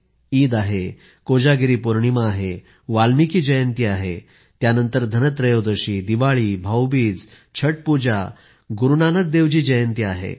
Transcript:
अजून ईद आहे कोजागिरी पौर्णिमा आहे वाल्मिकी जयंती आहे मग धनत्रयोदशी दिवाळी भाऊबीज छट पूजा गुरू नानक देवजी जयंती आहे